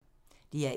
DR1